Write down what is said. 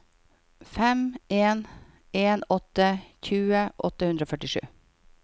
fem en en åtte tjue åtte hundre og førtisju